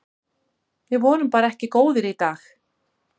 Við vorum bara ekki góðir í dag.